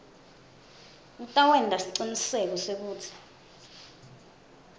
kutawenta siciniseko sekutsi